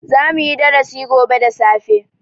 Zamu yi darasi gobe da safe.